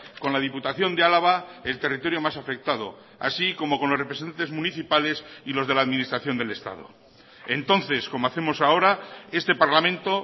con la diputación de álava el territorio más afectado así como con los representantes municipales y los de la administración del estado entonces como hacemos ahora este parlamento